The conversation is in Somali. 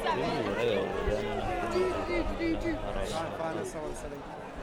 Riyuhu waxay awoodaan inay ku noolaadaan meelaha haramaha ah.